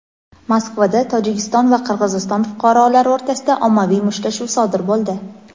Moskvada Tojikiston va Qirg‘iziston fuqarolari o‘rtasida ommaviy mushtlashuv sodir bo‘ldi.